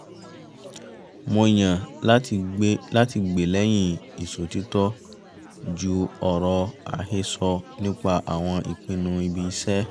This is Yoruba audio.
mo yàn láti gbè lẹ́yìn ìṣòtítọ́ ju ọ̀rọ̀ àhẹsọ́ nípa àwọn ìpinnu ibi-iṣẹ́